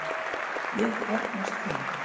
Ég þarfnast þín!